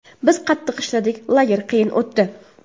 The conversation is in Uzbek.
Biz qattiq ishladik, lager qiyin o‘tdi.